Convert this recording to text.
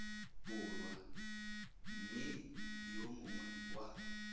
borwa mme yo mongwe wa